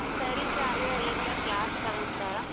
ಸರಿ ಶ್ರಾವ್ಯ ಇರ್ಲ class ತಗೊಂತರ.